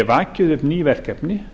vakið upp ný verkefni